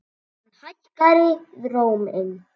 Hann hækkaði róminn.